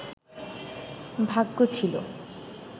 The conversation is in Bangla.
ভাগ্য ছিল